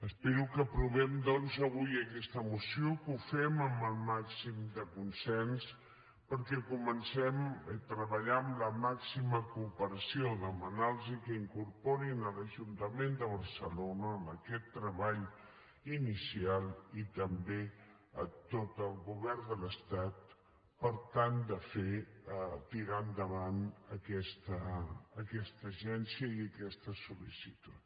espero que aprovem doncs avui aquesta moció que ho fem amb el màxim de consens perquè comencem a treballar amb la màxima cooperació demanar los que incorporin l’ajuntament de barcelona a aquest treball inicial i també a tot el govern de l’estat per tal de fer tirar endavant aquesta agència i aquesta sol·licitud